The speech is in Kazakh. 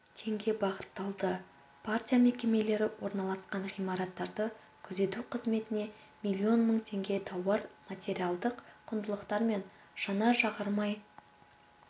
теңге бағытталды партия мекемелері орналасқан ғимараттарды күзету қызметіне миллион мың теңге тауар-материалдық құндылықтар мен жанар-жағармай